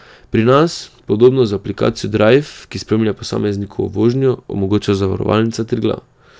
Pri nas podobno z aplikacijo Drajv, ki spremlja posameznikovo vožnjo, omogoča Zavarovalnica Triglav.